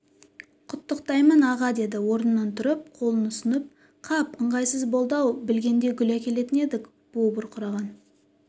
құттықтаймын аға деді орнынан тұрып қолын ұсынып қап ыңғайсыз болды-ау білгенде гүл әкелетін едік буы бұрқыраған